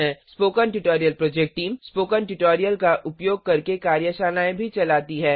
spoken tutorial project team spoken tutorial का उपयोग करके कार्यशालाएँ भी चलाती है